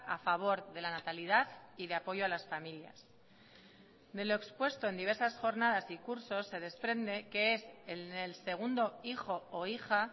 a favor de la natalidad y de apoyo a las familias de lo expuesto en diversas jornadas y cursos se desprende que es en el segundo hijo o hija